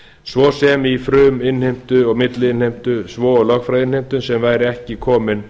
svo sem í fruminnheimtu og milliinnheimtu svo og lögfræðiinnheimtu sem væri ekki komin